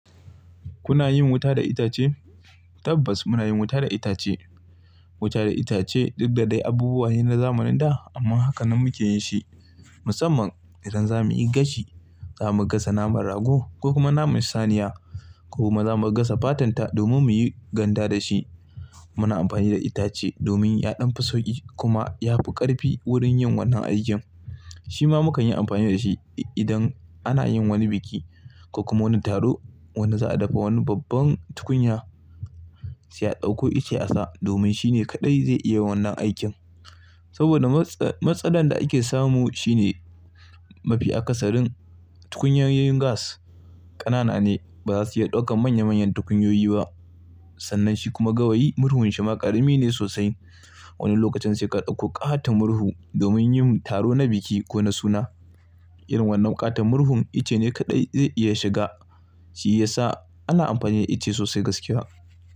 Kuna yin wuta da itace? Tabbas muna yin wuta da itace. Wutar itace duk da dai abubuwa ne na zamanin da amma haka nan muke yin su. Musamman idan za mu yi gashi, za mu gasa naman rago ko kuma naman saniya ko kuma za mu gasa fatarsa domin muyi ganda da ita. Muna amfani da itace domin ya ɗan fi sauƙi kuma yafi ƙarfi wurin yin wannan aikin. Shi ma mukan yi amfani da shi idan ana yin wani biki ko kuma wani taro wanda za a dafa wani babban tukunya, sai a ɗauko ice a sa domin shine kaɗai zai iya wannan aikin. Saboda matsalar da ake samu shine mafi akasarin tukunyoyin gas ƙanana ne, ba za su iya ɗaukar manyan-manyan tukunyoyi ba. Sannan shi kuma gawayi murhun shi ma ƙarami ne sosai. Wani lokacin sai ka ɗauko ƙaton murhu domin yin taro na biki ko na suna. Irin wannan ƙaton murhun ice ne kaɗai zai iya shiga shi ya sa ana amfani da ice sosai gaskiya.